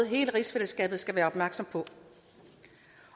hele rigsfællesskabet skal være opmærksom på